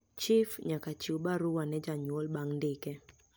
Chif nyaka chiw barua ne janyuol bang ndike